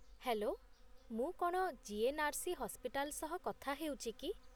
Hello! ମୁଁ କ'ଣ GNRC. Hospital ସହ କଥା ହେଉଛି କି?